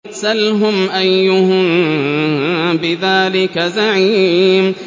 سَلْهُمْ أَيُّهُم بِذَٰلِكَ زَعِيمٌ